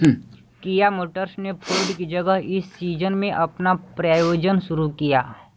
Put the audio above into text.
किआ Motors ने Ford की जगह इस सीज़न में अपना प्रायोजन शुरू किया